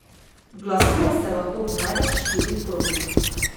Glasuje se lahko v največ štirih krogih.